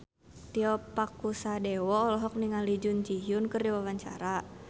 Tio Pakusadewo olohok ningali Jun Ji Hyun keur diwawancara